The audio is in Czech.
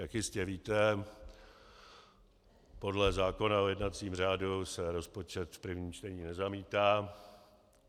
Jak jistě víte, podle zákona o jednacím řádu se rozpočet v prvním čtení nezamítá.